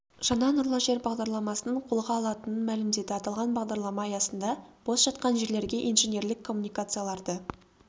жаңа нұрлы жер бағдарламасының қолға алынатынын мәлімдеді аталған бағдарлама аясында бос жатқан жерлерге инженерлік коммуникацияларды